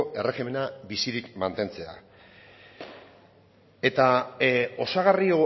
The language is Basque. erregimena bizirik mantentzea eta osagarri